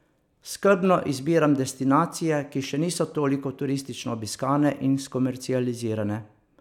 Skrbno izbiram destinacije, ki še niso toliko turistično obiskane in skomercializirane.